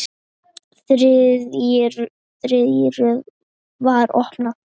Þriðja rörið var opið.